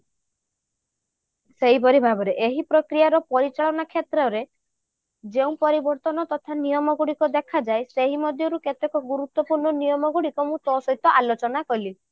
ସେହିପରି ଭାବରେ ଏହି ପ୍ରକ୍ରିୟାର ପରିଚାଳନା କ୍ଷେତ୍ରରେ ଯେଉଁ ପରିବର୍ତ୍ତନ ନିୟମ ଗୁଡିକ ଦେଖାଯାଏ ସେହି ମଧ୍ୟରୁ କେତକ ଗୁରୁତ୍ୟପୂର୍ଣ୍ଣ ନିୟମ ଗୁଡିକ ମୁଁ ତୋ ସହିତ ଆଲୋଚନା କଲି